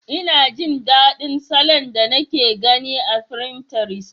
Ina jin daɗin salon da nake gani akan finterest.